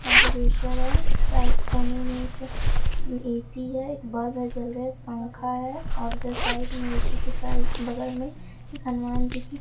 है साइ कोने में एक ए_सी है एक बल्ब जल रहा है एक पंखा है और उधर साइड में ए_सी के साइ बगल में हनुमान जी की--